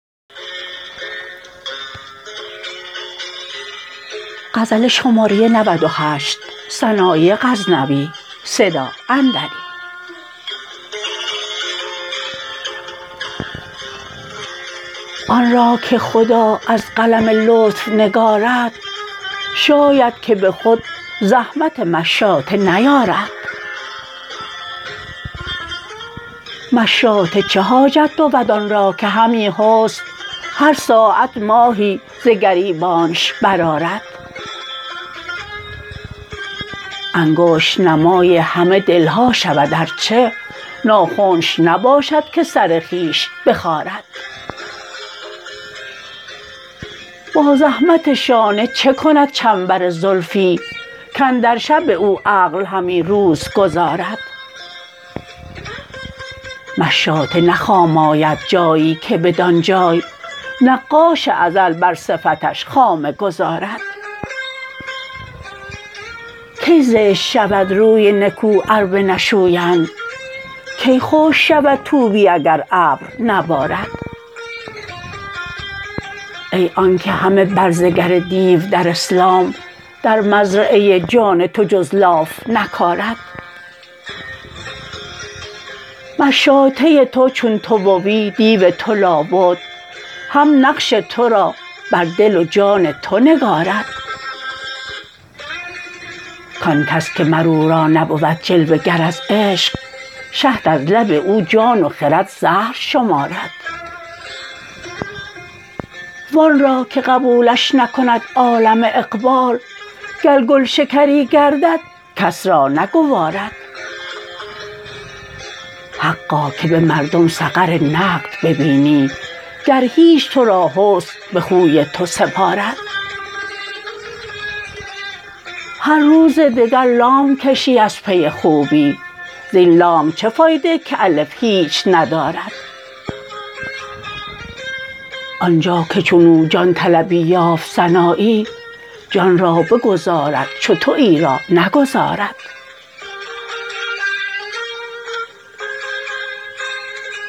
آنرا که خدا از قلم لطف نگارد شاید که به خود زحمت مشاطه نیارد مشاطه چه حاجت بود آن را که همی حسن هر ساعت ماهی ز گریبانش برآرد انگشت نمای همه دلها شود ار چه ناخنش نباشد که سر خویش بخارد با زحمت شانه چکند چنبر زلفی کاندر شب او عقل همی روز گذارد مشاطه نه خام آید جایی که بدانجای نقاش ازل بر صفتش خامه گذارد کی زشت شود روی نکو ار بنشویند کی خشک شود طوبی اگر ابر نبارد ای آنکه همه برزگر دیو در اسلام در مزرعه جان تو جز لاف نکارد مشاطه تو چون تو بوی دیو تو لابد هم نقش ترا بر دل و جان تو نگارد کانکس که مر او را نبود جلوه گر از عشق شهد از لب او جان و خرد زهر شمارد وانرا که قبولش نکند عالم اقبال گر گلشکری گردد کس را نگوارد حقا که به مردم سقر نقد ببینی گر هیچ ترا حسن به خوی تو سپارد هر روز دگر لام کشی از پی خوبی زین لام چه فایده کالف هیچ ندارد آنجا که چنو جان طلبی یافت سنایی جان را بگذارد چو تویی را نگذارد